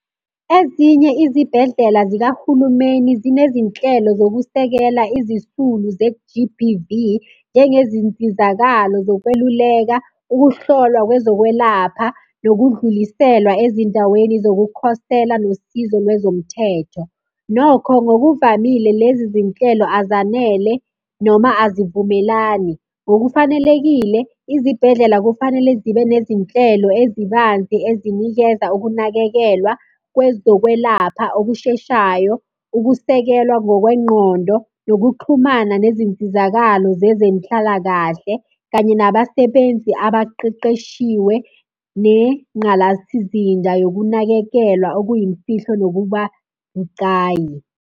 Ezinye izibhedlela zikahulumeni zinezinhlelo zokusekela izisulu ze-G_B_V, njengezinsizakalo zokweluleka, ukuhlolwa kwezokwelapha, nokudluliselwa ezindaweni zokukhosela, nosizo lwezomthetho. Nokho ngokuvamile lezi zinhlelo azanele noma azivumelani. Ngokufanelekile izibhedlela kufanele zibe nezinhlelo ezibanzi ezinikeza ukunakekelwa kwezokwelapha okusheshayo, ukusekelwa ngokwengqondo, nokuxhumana nezinsizakalo zezenhlalakahle, kanye nabasebenzi abaqeqeshiwe nengqalasizinda yokunakekelwa okuyimfihlo nokuba bucayi.